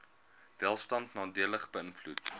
welstand nadelig beïnvloed